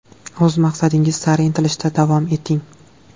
O‘z maqsadingiz sari intilishda davom eting.